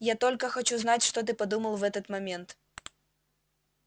я только хочу знать что ты подумал в этот момент